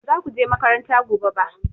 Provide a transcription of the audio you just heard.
Ba za ku je makaranta gobe ba!